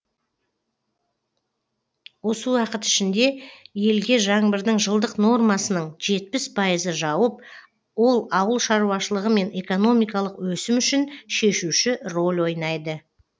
осы уақыт ішінде елге жаңбырдың жылдық нормасының жетпіс пайызы жауып ол ауыл шаруашылығы мен экономикалық өсім үшін шешуші рөл ойнайды